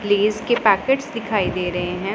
Please के packets दिखाई दे रहे हैं।